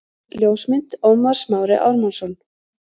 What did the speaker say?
Ljósmynd: Ómar Smári Ármannsson